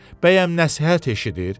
Bəyəm nəshət eşidir?